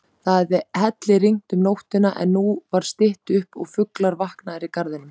Það hafði hellirignt um nóttina, en nú var stytt upp og fuglar vaknaðir í garðinum.